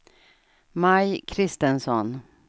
Maj Christensson